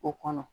O kɔnɔ